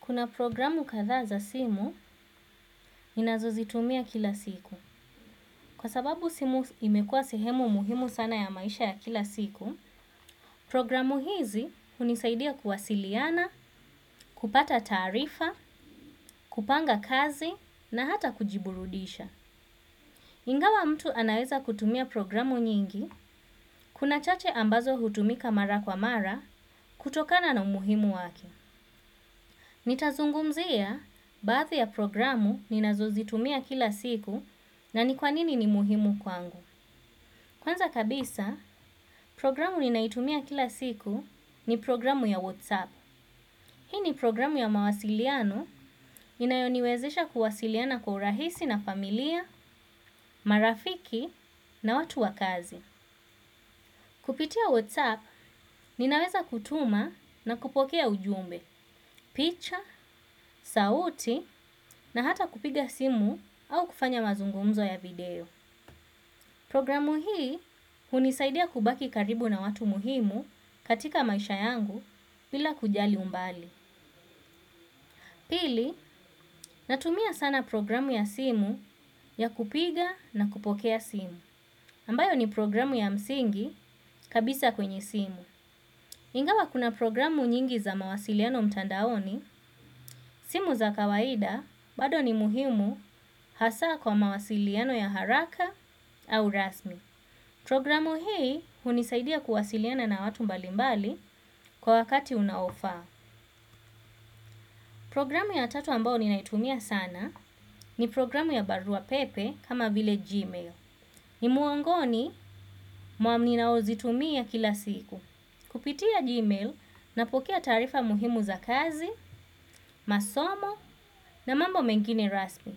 Kuna programu kadhaa za simu ninazozitumia kila siku. Kwa sababu simu imekuwa sehemu muhimu sana ya maisha ya kila siku, programu hizi hunisaidia kuwasiliana, kupata taarifa, kupanga kazi na hata kujiburudisha. Ingawa mtu anaweza kutumia programu nyingi, kuna chache ambazo hutumika mara kwa mara kutokana na umuhimu wake. Nitazungumzia, baadhi ya programu ninazozitumia kila siku na ni kwa nini ni muhimu kwangu. Kwanza kabisa, programu ninayoitumia kila siku ni programu ya whatsApp. Hii ni programu ya mawasiliano inayoniwezesha kuwasiliana kwa urahisi na familia, marafiki na watu wa kazi. Kupitia WhatsApp, ninaweza kutuma na kupokea ujumbe, picha, sauti na hata kupiga simu au kufanya mazungumzo ya video. Programu hii hunisaidia kubaki karibu na watu muhimu katika maisha yangu bila kujali umbali. Pili, natumia sana programu ya simu ya kupiga na kupokea simu. Ambayo ni programu ya msingi kabisa kwenye simu. Ingawa kuna programu nyingi za mawasiliano mtandaoni, simu za kawaida, bado ni muhimu hasa kwa mawasiliano ya haraka au rasmi. Programu hii hunisaidia kuwasiliana na watu mbalimbali kwa wakati unaofaa. Programu ya tatu ambayo ninaitumia sana ni programu ya barua pepe kama vile. Gmail. Ni muongoni mwa ninaozitumia kila siku. Kupitia Gmail napokea taarifa muhimu za kazi, masomo na mambo mengine rasmi.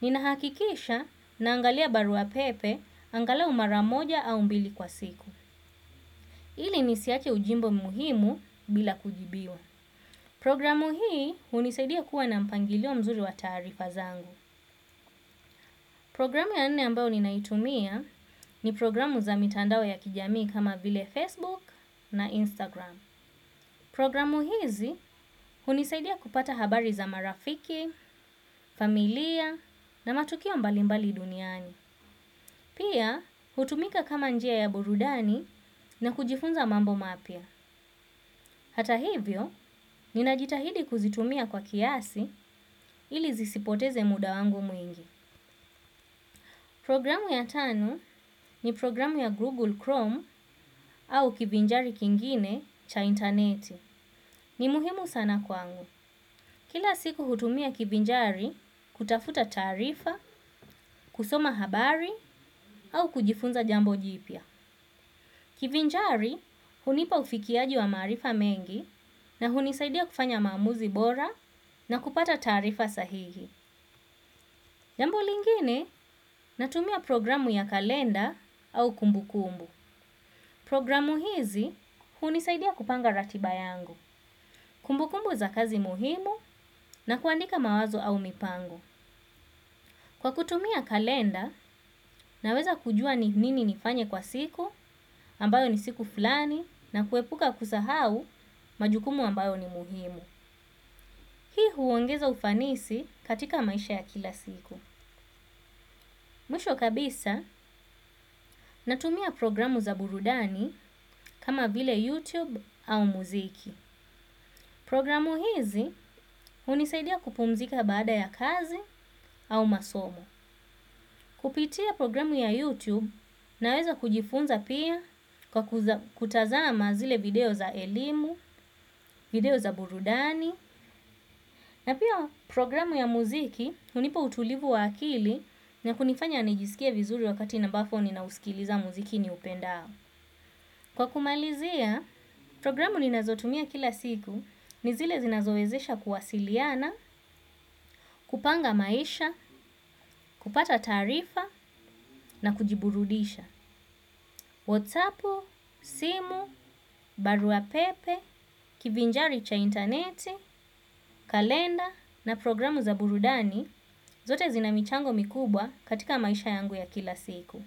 Ninahakikisha naangalia barua pepe, angalau mara moja au mbili kwa siku. Ili nisiache ujumbe muhimu bila kujibiwa. Programu hii hunisaidia kuwa na mpangilio mzuri wa taarifa zangu. Programu ya nne ambayo ninaitumia ni programu za mitandao ya kijamii kama vile Facebook na Instagram. Programu hizi hunisaidia kupata habari za marafiki, familia na matukio mbalimbali duniani. Pia hutumika kama njia ya burudani na kujifunza mambo mapya. Hata hivyo, ninajitahidi kuzitumia kwa kiasi ili zisipoteze muda wangu mwingi. Programu ya tano ni programu ya Google Chrome au kivinjari kingine cha interneti. Ni muhimu sana kwangu. Kila siku hutumia kivinjari kutafuta taarifa, kusoma habari au kujifunza jambo jipya. Kivinjari hunipa ufikiaji wa maarifa mengi na hunisaidia kufanya maamuzi bora na kupata taarifa sahihi. Jambo lingine, natumia programu ya kalenda au kumbu kumbu. Programu hizi hunisaidia kupanga ratiba yangu, kumbukumbu za kazi muhimu na kuandika mawazo au mipango. Kwa kutumia kalenda naweza kujua ni nini nifanye kwa siku ambayo ni siku fulani na kuepuka kusahau majukumu ambayo ni muhimu. Hii huongeza ufanisi katika maisha ya kila siku. Mwisho kabisa natumia programu za burudani kama vile YouTube au muziki. Programu hizi hunisaidia kupumzika baada ya kazi au masomo. Kupitia programu ya YouTube naweza kujifunza pia, kwa kutazama zile video za elimu, video za burudani, na pia programu ya muziki hunipa utulivu wa akili, na kunifanya nijiskie vizuri wakati ambapo ninauskiza muziki niupendao. Kwa kumalizia, programu ninazotumia kila siku ni zile zinazowezesha kuwasiliana, kupanga maisha, kupata taarifa na kujiburudisha. WhatsAppu, simu, baruapepe, kivinjari cha interneti, kalenda na programu za burudani zote zina michango mikubwa katika maisha yangu ya kila siku.